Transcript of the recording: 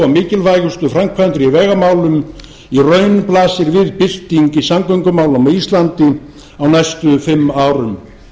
mikilvægustu framkvæmdir í vegamálum í raun blasir við bylting í samgöngumálum á íslandi á næstu fimm árum